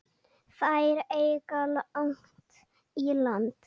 Þær eiga langt í land.